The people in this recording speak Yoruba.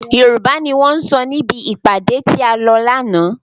Yorùbá ni wọn sọ níbi ìpàdé tí a lọ lànà.